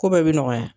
Ko bɛɛ bɛ nɔgɔya